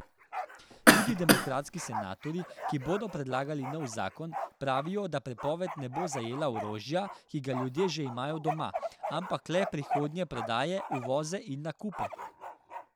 Tudi demokratski senatorji, ki bodo predlagali nov zakon, pravijo, da prepoved ne bo zajela orožja, ki ga ljudje že imajo doma, ampak le prihodnje prodaje, uvoze in nakupe.